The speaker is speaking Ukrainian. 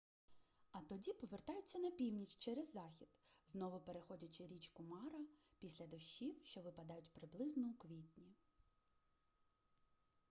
а тоді повертаються на північ через захід знову переходячи річку мара після дощів що випадають приблизно у квітні